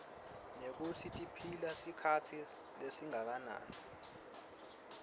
nekutsi tiphila sikhatsi lesinganani